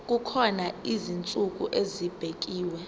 kukhona izinsuku ezibekiwe